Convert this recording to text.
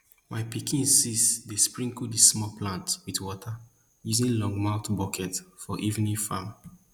my pikin sis dey sprinkle di small plants wit water using longmouth bucket for evening farming